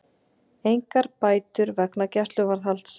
Engar bætur vegna gæsluvarðhalds